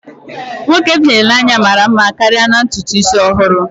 Nwoke m na-ele anya mara mma karịa na ntutu isi ọhụrụ